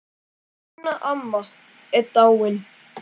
Hún Ína amma er dáin.